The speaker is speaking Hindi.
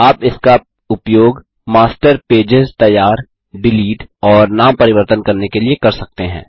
आप इसका उपयोग मास्टर पेजेस तैयार डिलीट और नाम परिवर्तन करने के लिए कर सकते हैं